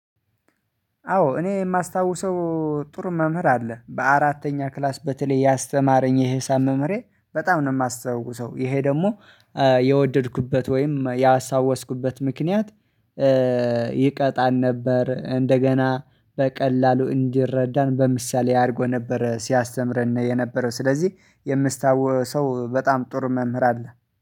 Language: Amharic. አዎ እኔ የማስታውሰው ጥሩ መምህር አለ በአራተኛ ክላስ በተለይ ያስተማረኝ የሂሳብ መምህሬ በጣም ነው የማስተውሰው ይሄ ደግሞ የወደድኩበት ወይም ያሳወስኩበት ምክንያት። ይቀጣን ነበር እንደገና በቀላሉ እንዲረዳን በምሳሌ አድርጎ ነበር ሲያስተምረን የነበረው ስለዚህ የምስታወሰው በጣም ጥር መምህር አለ